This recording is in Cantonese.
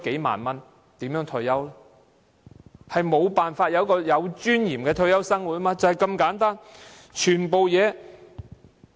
他們無法享受有尊嚴的退休生活，問題就是這麼簡單。